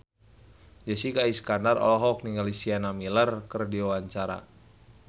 Jessica Iskandar olohok ningali Sienna Miller keur diwawancara